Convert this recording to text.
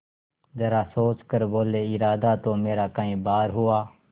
जरा सोच कर बोलेइरादा तो मेरा कई बार हुआ